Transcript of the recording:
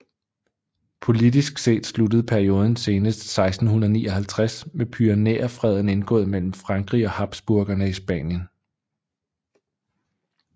Politisk set sluttede perioden senest 1659 med Pyrenæerfreden indgået mellem Frankrig og Habsburgerne i Spanien